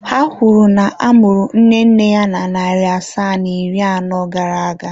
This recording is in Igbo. Ha kwuru na a mụrụ nne nne ya na narị asaa na iri anọ gara aga.